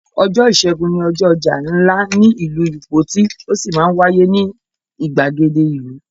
Ọjọ́ ìṣẹ́gun ni ọjọ́ ọjà ńlá ní ìlú Ìpoti ó sì máa ń wáyé ní ìgbàgede ìlú.